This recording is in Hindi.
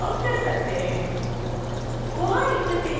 अब आप koha से लॉगआउट कर सकते हैं